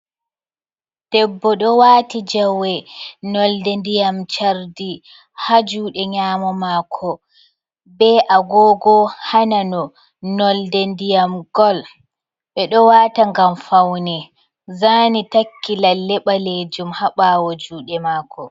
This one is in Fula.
Debbo ɗo waati jawe, nolde ndiyam chardi ha juuɗe nyaamo maako, be agoogo ha nano nolde ndiyam gol. Ɓe ɗo waata ngam fawne, zaani takki lalle ɓaleejum ha ɓaawo juuɗe maako.